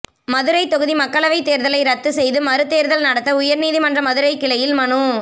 மதுரை தொகுதி மக்களவை தேர்தலை ரத்து செய்து மறு தேர்தல் நடத்த உயர்நீதிமன்ற மதுரை கிளையில் மனு